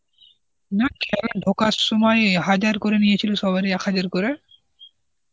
না, খেলা ঢোকার সময় হাজার করে নিয়েছিল সবারই এক হাজার করে